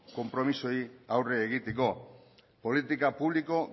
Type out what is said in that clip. konpromisoei aurre egiteko politika publikoa